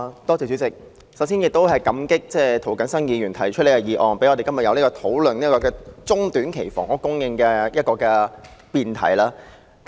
主席，首先感激涂謹申議員提出這項議案，讓我們今天有機會討論短中期房屋供應這項議題。